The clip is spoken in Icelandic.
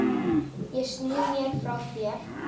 Ég sný mér frá þér.